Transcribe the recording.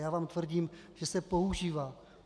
Já vám tvrdím, že se používá.